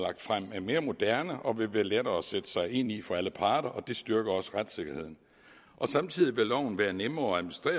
er mere moderne og vil være lettere at sætte sig ind i for alle parter og det styrker også retssikkerheden samtidig vil loven blive nemmere